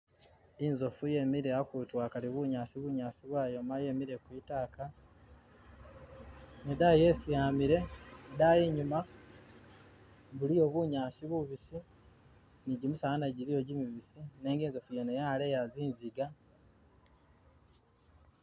Inzofu yemile akutu akali bunyaasi, bunyaasi bwayoma yemile kwi'taaka ne itaayi esi amile idaayi inyuma , buliyo bunyaasi bubisi ne jimisaala nagyo jiliyo jimibiisi nenga inzofu yene yaleya zinziga.